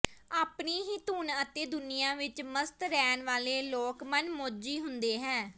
ਆਪਣੀ ਹੀ ਧੁਨ ਅਤੇ ਦੁਨੀਆ ਵਿੱਚ ਮਸਤ ਰਹਿਣ ਵਾਲੇ ਲੋਕ ਮਨਮੌਜੀ ਹੁੰਦੇ ਹੈ